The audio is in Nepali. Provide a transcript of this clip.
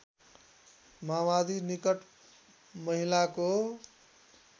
माओवादी निकट महिलाको